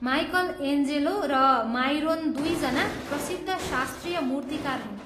Michael Angelo र Myron दुईजना प्रसिद्ध शास्त्रीय मूर्तिकार हुन्।